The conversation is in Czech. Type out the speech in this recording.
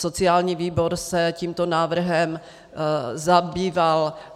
Sociální výbor se tímto návrhem zabýval.